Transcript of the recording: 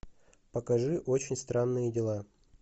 покажи очень странные дела